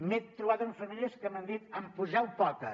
m’he trobat amb famílies que m’han dit en poseu poques